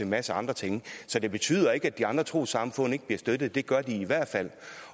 masse andre ting så det betyder ikke at de andre trossamfund ikke bliver støttet det gør de i hvert fald